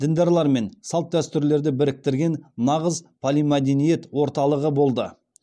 діндарлар мен салт дәстүрлерді біріктірген нағыз полимәдениет орталығы болды